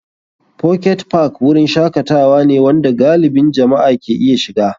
Pocket Park wurin shakatawa ne wanda galibin jama'a ke iya shiga.